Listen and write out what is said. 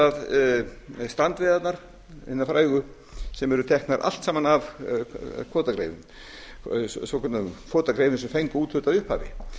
það strandveiðarnar hinar frægu sem eru teknar allt saman af svokölluðum kvótagreifum sem fengu úthlutað í upphafi